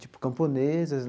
tipo camponesas.